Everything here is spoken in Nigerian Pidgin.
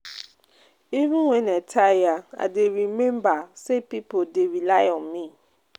Even wen I tire, I dey rememba sey pipo dey rely on me.